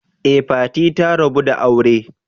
Ee, Fati ta rabu da aure.